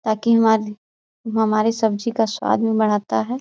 ताकि हमारी हमारी सब्जी का स्वाद भी बढ़ाता है।